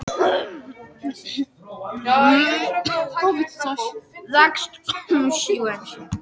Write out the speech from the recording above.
Hugarástand hennar var eins og nóttin ískalt og myrkvað.